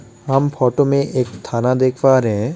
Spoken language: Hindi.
हम फोटो में एक थाना देख पा रहे हैं।